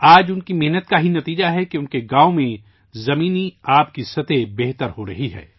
آج ان کی محنت کا نتیجہ ہے کہ ان کے گاؤں میں زیر زمین پانی کی سطح بہتر ہو رہی ہے